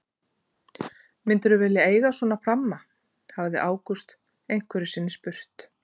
Myndirðu vilja eiga svona pramma? hafði Ágúst einhverju sinni spurt.